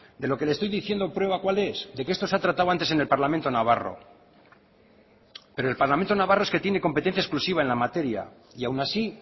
de lo que le estoy diciendo prueba cuál es de que esto se ha tratado antes en el parlamento navarro pero el parlamento navarro es que tiene competencia exclusiva en la materia y aun así